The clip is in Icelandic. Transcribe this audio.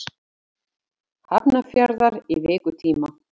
Hafnarfjarðar í vikutíma.